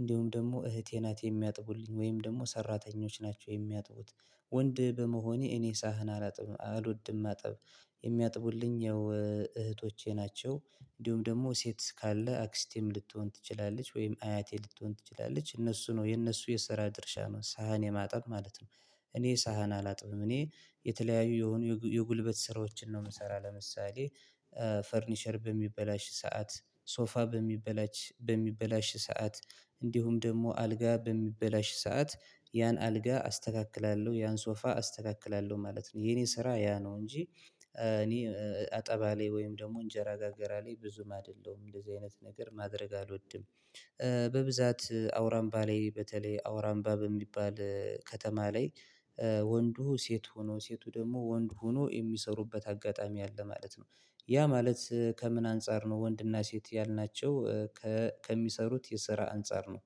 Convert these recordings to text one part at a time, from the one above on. እንዲሁም ደግሞ እህቴ ናት የሚያጥቡልኝ ወይም ደግሞ ሰራተኞች ናቸው የሚያጥቡት። ወንድ በመሆኔ እኔ ሳህን አላጥብም አልወድም ማጠብ። የሚያጥቡልኝ ያው እህቶቼ ናቸው እንዲሁም ደግሞ ሴት ካለ አክስቴም ልትሆን ትችላለች ወይም አያቴ ልትሆን ትችላለች እነሱ ነው የነሱ የሰራ ድርሻ ነው ሳህን የማጠብ ማለት ነው። እኔ ሳህን አላጥብም እኔ የተለያዩ የሆኑ የጉልበት ስራዎችን ነው የምሰራው ለምሳሌ። ፈርኒቸር በሚበላሽ ሰዓት ሶፋ በሚበላሽ በሚበላሽ ሰዓት። እንዲሁም ደግሞ አልጋ በሚበላሽ ሰዓት። ያን አልጋ አስተካክላለሁ ያን ሶፋ አስተካክላለሁ ማለት ነው የኔ ስራ ያ ነው እንጂ። እኔ አጠባ ላይ ወይም ደግሞ እንጀራ ጋገራ ላይ ብዙም አይደለውም እንደዚህ አይነት ነገር ማድረግ አልወድም። በብዛት አውራምባ ላይ በተለይ አውራንባ በሚባል ከተማ ላይ። ወንዱ ሴት ሆኖ ሴቱ ደግሞ ወንድ ሆኖ የሚሰሩበት አጋጣሚ አለ ማለት ነው። ያ ማለት ከምን አንፃር ነው ወንድና ሴት ያልናቸው? ከሚሰሩት የስራ አንፃር ነው።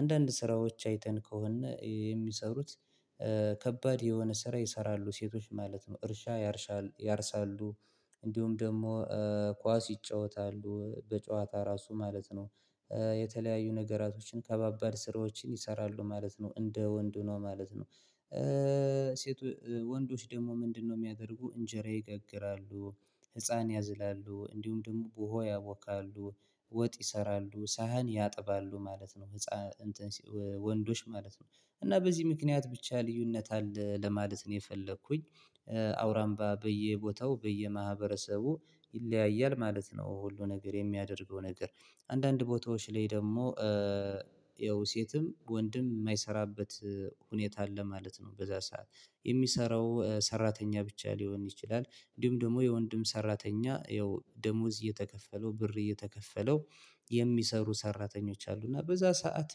አንዳንድ ስራዎች አይተን ከሆነ የሚሰሩት። ከባድ የሆነ ስራ ይሰራሉ ሴቶች ማለት ነው እርሻ ያርሳሉ ያርሳሉ። እንዲሁም ደግሞ ኳስ ይጫወታሉ በጨዋታ ራሱ ማለት ነው። የተለያዩ ነገራቶችን ከባባድ ስራዎችን ይሰራሉ ማለት ነው እንደ ወንድ ሁነው ማለት ነው። ሴት ወንዶች ደግሞ ምንድነው? የሚያደርጉ እንጀራ ይጋግራሉ። ህፃን ያዝላሉ እንዲሁም ደግሞ ቡሆ ያበካሉ። ወጥ ይሰራሉ ሳህን ያጥባሉ ማለት ነው። ህፃን ወንዶች ማለት ነው። እና በዚህ ምክንያት ብቻ ልዩነት አለ ለማለት ነው የፈለኩኝ። አውራምባ በየቦታው በየማህበረሰቡ ይለያያል ማለት ነው። ሁሉ ነገር የሚያደርገው ነገር አንዳንድ ቦታዎች ላይ ደግሞ። ያው ሴትም ወንድም የማይሰራበት ሁኔታ አለ ማለት ነው። በዛ ሰዓት የሚሰራው ሰራተኛ ብቻ ሊሆን ይችላል። እንዲሁም ደግሞ የወንድም ሰራተኛ ያው ደሞዝ እየተከፈለው ብር እየተከፈለው። የሚሰሩ ሰራተኞች አሉ። እና በዛ ሰዓት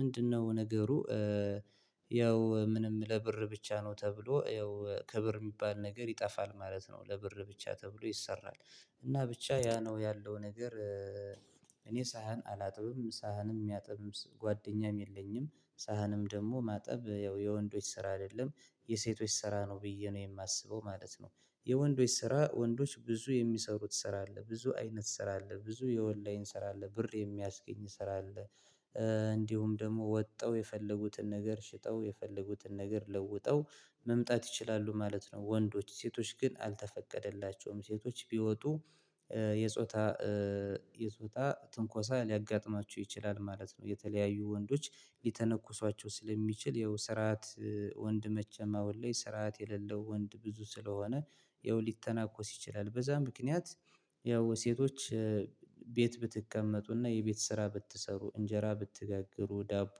ምንድነው ነገሩ? ያው ምንም ለብር ብቻ ነው ተብሎ ይኸው ክብር የሚባል ነገር ይጠፋል ማለት ነው ለብር ብቻ ተብሎ ይሰራል። እና ብቻ ያ ነው ያለው ነገር። እኔ ሳህን አላጥብም ሳህንም የሚያጥብም ጓደኛም የለኝም። ሳህንም ደግሞ ማጠብ ያው የወንዶች ስራ አይደለም። የሴቶች ስራ ነው ብዬ ነው የማስበው ማለት ነው። የወንዶች ስራ ወንዶች ብዙ የሚሰሩት ስራ አለ ብዙ አይነት ስራ አለ ብዙ የኦላይን ስራ አለ ብር የሚያስገኝ ስራ አለ። እንዲሁም ደግሞ ወጣው የፈለጉትን ነገር ሽጠው የፈለጉትን ነገር ለውጠው መምጣት ይችላሉ ማለት ነው። ወንዶች ሴቶች ግን አልተፈቀደላቸውም ሴቶች ቢወጡ። የጾታ የጾታ ትንኮሳ ሊያጋጥማችሁ ይችላል ማለት ነው። የተለያዩ ወንዶች ሊተነኩሷቸው ስለሚችል ይኸው ስርዓት ወንድ መቼም አሁን ላይ ስርዓት የሌለው ወንድ ብዙ ስለሆነ። ይኸው ሊተናኮስ ይችላል። በዛ ምክንያት። ያው ሴቶች። ቤት ብትቀመጡና የቤት ስራ ብትሰሩ እንጀራ ብትጋግሩ ዳቦ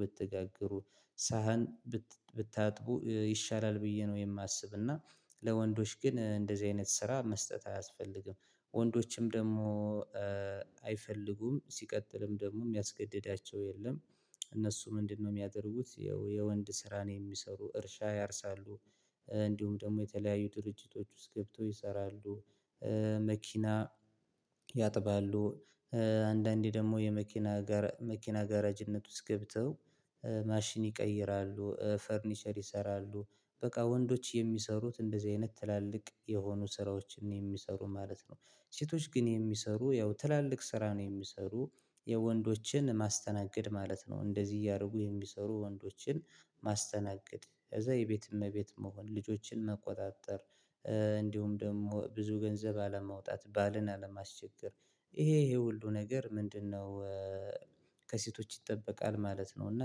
ብትጋግሩ ሳህን ብታጥቡ ይሻላል ብዬ ነው የማስብና። ለወንዶች ግን እንደዚህ አይነት ስራ መስጠት አያስፈልግም። ወንዶችም ደግሞ አይፈልጉም ሲቀጥልም ደግሞ የሚያስገድዳቸው የለም። እነሱ ምንድነው? የሚያደርጉት የወንድ ስራ ነው የሚሰሩ እርሻ ያርሳሉ። እንዲሁም ደግሞ የተለያዩ ድርጅቶች ውስጥ ገብተው ይሰራሉ። መኪና ያጥባሉ። አንዳንዴ ደግሞ የመኪና መኪና ጋራጅነት ውስጥ ገብተው። ማሽን ይቀይራሉ ፈርኒቸር ይሰራሉ። በቃ ወንዶች የሚሰሩት እንደዚህ አይነት ትላልቅ የሆኑ ስራዎችን የሚሰሩ ማለት ነው። ሴቶች ግን የሚሰሩ ያው ትላልቅ ስራ ነው የሚሰሩ። የወንዶችን ማስተናገድ ማለት ነው እንደዚህ እያደረጉ የሚሰሩ ወንዶችን ማስተናገድ ከዛ የቤት እመቤት መሆን ልጆችን መቆጣጠር። እንዲሁም ደግሞ ብዙ ገንዘብ አለመውጣት ባልን አለማስቸገር። ይሄ ይሄ ሁሉ ነገር ምንድነው? ከሴቶች ይጠበቃል ማለት ነው። እና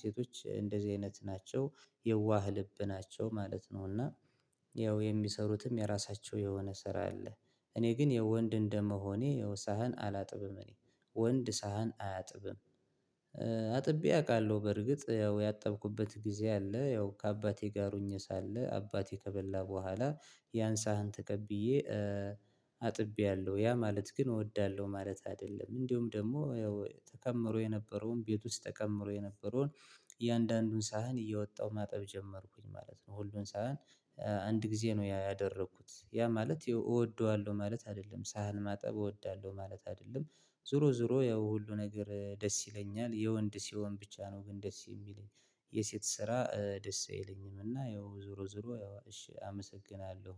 ሴቶች እንደዚህ አይነት ናቸው። የዋህ ልብ ናቸው ማለት ነው። እና ያው የሚሰሩትም የራሳቸው የሆነ ስራ አለ። እኔ ግን የወንድ እንደመሆኔ ሳህን አላጥብም እኔ። ወንድ ሳህን አያጥብም። አጥቤ አውቃለሁ በርግጥ ያው ያጠብኩበት ጊዜ አለ ያው ከአባቴ ጋር ሆኜ ሳለ አባቴ ከበላ በኋላ። ያን ሳህን ተቀብዬ። አጥብያለሁ ያ ማለት ግን እወዳለሁ ማለት አይደለም። እንዲሁም ደግሞ ያው ተከምሮ የነበረውን ቤት ውስጥ ተከምሮ የነበረውን እያንዳንዱን ሳህን እየወጣሁ ማጠብ ጀመርኩኝ ማለት ነው። ሁሉን ሳህን። ጊዜ ነው ያ ያደረኩት ያ ማለት እወደዋለሁ ማለት አይደለም ሳህን ማጠብ እወዳለሁ ማለት አይደለም። ዞሮ ዞሮ ያው ሁሉ ነገር ደስ ይለኛል የወንድ ሲሆን ብቻ ነው ግን ደስ የሚለኝ። የሴት ስራ ደስ አይለኝም። እና ይኸው ዞሮ ዞሮ ያው እሺ አመሰግናለሁ።